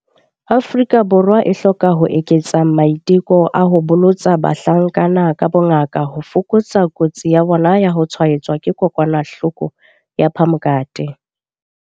Afrika Borwa e hloka ho eketsa maiteko a ho bolotsa bahlankana ka bongaka ho fokotsa kotsi ya bona ya ho tshwaetswa ke HIV.